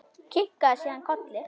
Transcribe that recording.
Kinkaði síðan kolli.